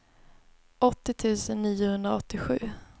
åttio tusen niohundraåttiosju